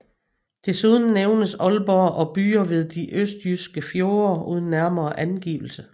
Desuden nævnes Aalborg og byer ved de østjyske fjorde uden nærmere angivelse